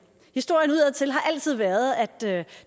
historien udadtil har altid været at det